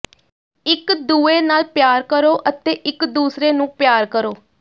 ਇੱਕ ਦੂਏ ਨਾਲ ਪਿਆਰ ਕਰੋ ਅਤੇ ਇੱਕ ਦੂਸਰੇ ਨੂੰ ਪਿਆਰ ਕਰੋ